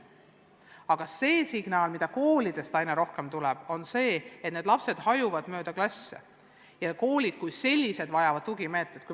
Aga signaalid, mida koolidest aina rohkem tuleb, on sellised, et need lapsed on mööda klasse hajunud ja koolid vajavad tugimeetmeid.